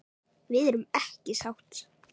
Við erum ekki sátt.